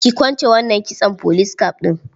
Ki kwance wannan kitson police cap ɗin.